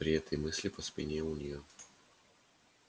при этой мысли по спине у нее пробежала дрожь